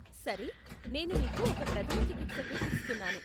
సరే, నేను నీకు ఒక ప్రథమ చికిత్స కిట్ ఇస్తున్నాను.